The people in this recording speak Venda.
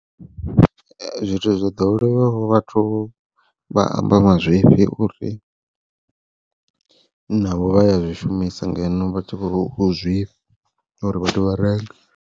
Zwithu zwo ḓowelaho vhathu vha amba mazwifhi uri, navho vha ya zwishumisa ngeno vha tshi vho khou zwifha uri vhathu vha renge.